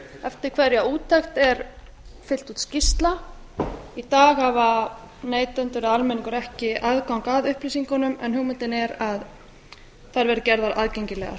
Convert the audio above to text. eftir hverja úttekt er fyllt út skýrsla í dag hafa neytendur eða almenningur ekki aðgang að upplýsingunum en hugmyndin er að þær verði gerðar aðgengilegar